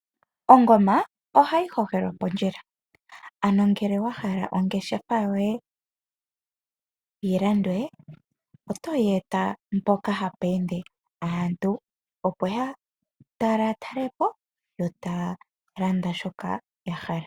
Ongoma oha yi hokelwa pondjila ano ngele wa hala ongeshafa yoye yilandwe oto yi eta mpoka hapu ende aantu opo yatalatalepo